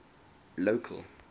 local